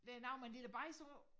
Det noget med en lille bajs på